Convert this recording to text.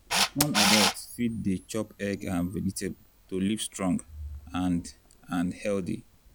small adult fit dey chop egg and vegetable to live strong and and healthy.